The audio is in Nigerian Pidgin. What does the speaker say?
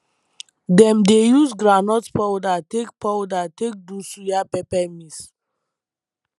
dem dey use groundnut powder take powder take do suya pepper mix